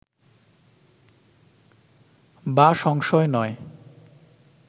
বা সংশয় নয়